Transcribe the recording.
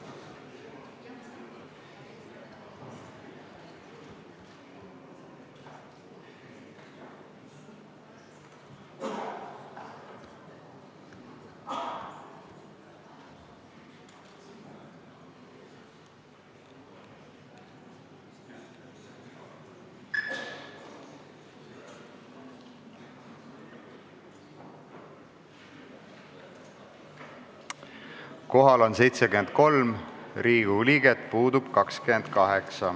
Kohaloleku kontroll Kohal on 73 Riigikogu liiget, puudub 28.